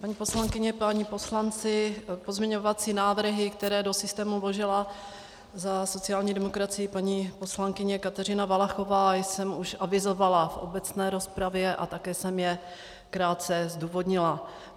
Paní poslankyně, páni poslanci, pozměňovací návrhy, které do systému vložila za sociální demokracii paní poslankyně Kateřina Valachová, jsem už avizovala v obecné rozpravě a také jsem je krátce zdůvodnila.